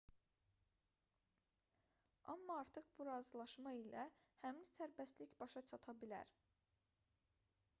amma artıq bu razılaşma ilə həmin sərbəstlik başa çata bilər